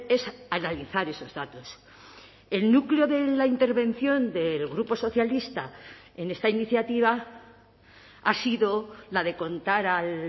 es analizar esos datos el núcleo de la intervención del grupo socialista en esta iniciativa ha sido la de contar a